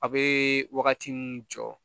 A bɛ wagati min jɔ